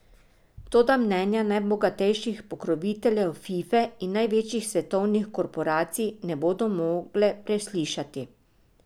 Toda mnenja najbogatejših pokroviteljev Fife in največjih svetovnih korporacij ne bodo mogle preslišati.